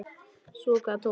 Svo kvað Tómas.